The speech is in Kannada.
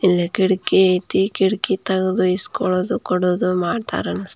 ಇಲ್ಲಿ ಕಿಟಕಿ ಐತೆ ಕಿಟಕಿ ತಕ ಇಸ್ಕೊಳದು ತಗೋಳದು ಮಾಡ್ತಾರೆ ಆಂಸ್ಟತೆ --